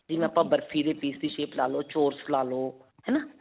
ਜਿਵੇਂ ਆਪਾਂ ਬਰਫੀ ਦੇ piece ਦੀ shape ਲਾ ਲੋ. ਚੋਰਸ ਲਾ ਲੋ ਹੈ ਨਾ.